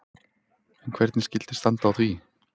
En hvernig skyldi standa á því?